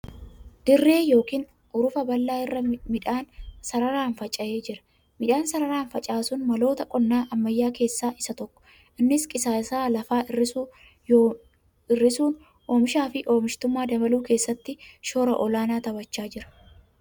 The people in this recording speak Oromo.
Dirree yookiin hurufa bal'aa irra midhaan sararaan faca'ee jira. Midhaan sararaan facaasuun maloota qonnaa ammayyaa keessaa isa tokko .Innis qisaasa'a lafaa hir'isuun oomishaa fi oomishtummaa dabaluu keessatti shoora olaanaa taphachaa jira.